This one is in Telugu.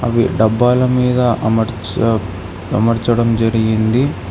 ఈ డబ్బాల మీద అమర్చ అమర్చడం జరిగింది.